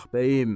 Ah bəyim.